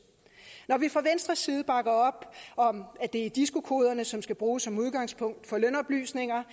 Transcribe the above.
når vi fra venstres side bakker op om at det er disco koderne som skal bruges som udgangspunkt for lønoplysninger